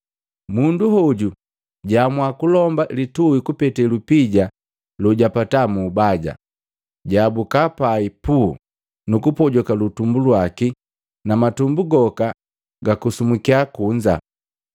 Mundu hoju jwaamua kulomba lituhi kupete lupija lojapataa mu ubaja, jaabuka pai puu! Nukupojoka litumbu laki na matumbu goka gakusumbukiya kunza.